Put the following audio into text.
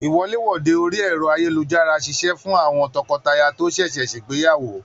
Iwọ̀lèwọ̀de orí ẹrọ ayélujára ṣiṣẹ fún àwọn tọkọtaya to ṣẹṣẹ ṣegbeyawo.